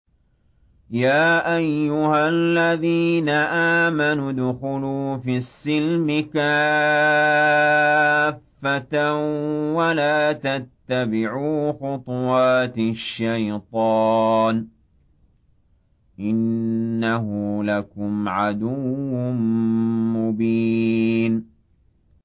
يَا أَيُّهَا الَّذِينَ آمَنُوا ادْخُلُوا فِي السِّلْمِ كَافَّةً وَلَا تَتَّبِعُوا خُطُوَاتِ الشَّيْطَانِ ۚ إِنَّهُ لَكُمْ عَدُوٌّ مُّبِينٌ